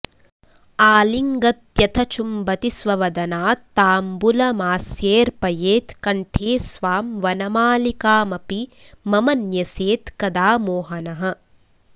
आलिङ्गत्यथ चुम्बति स्ववदनात् ताम्बुलमास्येऽर्पयेत् कण्ठे स्वां वनमालिकामपि मम न्यस्येत् कदा मोहनः